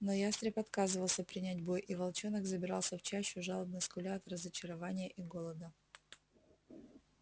но ястреб отказывался принять бой и волчонок забирался в чащу жалобно скуля от разочарования и голода